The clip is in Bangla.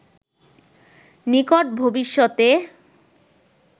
নিকট ভবিষ্যতে